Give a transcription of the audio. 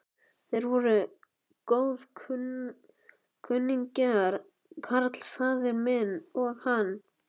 Þeir voru góðkunningjar, karl faðir minn og hann.